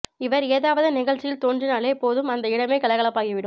இவர் ஏதாவது நிகழ்ச்சியில் தோன்றினாலே போதும் அந்த இடமே கலகலப்பாகி விடும்